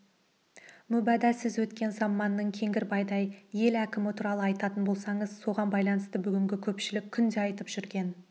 мүбада сіз өткен заманның кеңгірбайдай ел әкімі туралы айтатын болсаңыз соған байланысты бүгінгі көпшілік күнде айтып жүрген